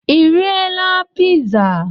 Ị riela piza?